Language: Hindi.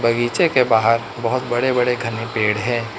बगीचे के बाहर बहुत बड़े बड़े घने पेड़ है।